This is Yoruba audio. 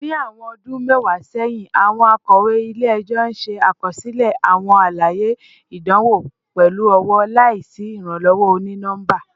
Ni awọn ọdun mẹwa sẹhin, awọn akọwe ile-ẹjọ ṣe akọsilẹ awọn alaye idanwo pẹlu ọwọ, laisi iranlọwọ oni-nọmba